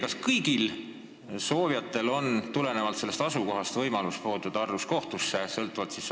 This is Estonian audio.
Kas kõigil soovijatel on võimalus olenemata oma asukohast halduskohtusse pöörduda?